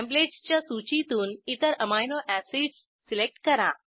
templates च्या सूचीतून इतर अमिनो एसिड्स सिलेक्ट करा